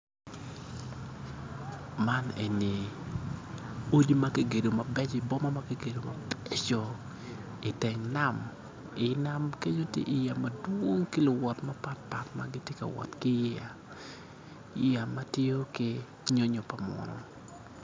Man eni odi ma kigedo mabeco i boma ma kigedo mabeco iteng nam, i nam keny tye yeya madwong ki luwot mapatpat ma gitye ka wot yeya, yeya ma tiyo nyonyo pa munu